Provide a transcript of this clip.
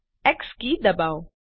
x key દબાવો